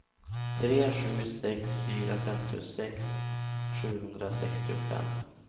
tre sju sex fyra femtiosex sjuhundrasextiofem